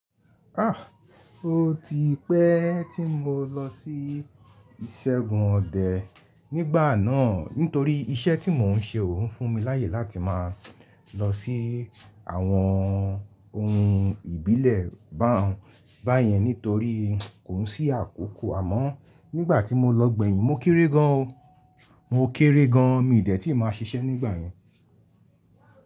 Ah! O ti pẹ́ tí mo lọ sí ìṣẹ́gun ọdẹ nígbà náà nítorí iṣẹ́ tí mò ń ṣe ò ń fún mi láyè láti máa lọ sí àwọn ohun ìbílẹ̀ bá yẹn nítorí kò sí àkókò. Àmọ́ nígbà tí mo lọ gbẹ̀yìn mo kéré gan o. Mo kéré gan, mi ò dẹ̀ tí màa ṣiṣẹ́ nígbà yẹn.